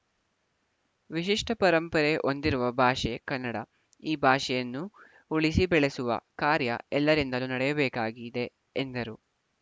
ವಿಶಿಷ್ಟ ಪರಂಪರೆ ಹೊಂದಿರುವ ಭಾಷೆ ಕನ್ನಡ ಈ ಭಾಷೆಯನ್ನು ಉಳಿಸಿ ಬೆಳೆಸುವ ಕಾರ್ಯ ಎಲ್ಲರಿಂದಲೂ ನಡೆಯಬೇಕಾಗಿದೆ ಎಂದರು